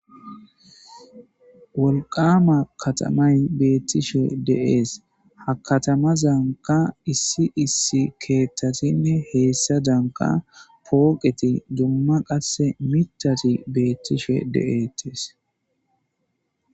wolqqama katamay beettishe de'ees. ha katamazankka issi issi keettasinne heessa danka pooqeti dumma qasse miiththati beettishe de'ettes.